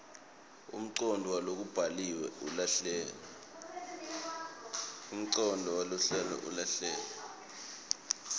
umcondvo walokubhaliwe ulahleke